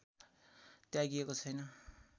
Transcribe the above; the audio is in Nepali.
त्यागिएको छैन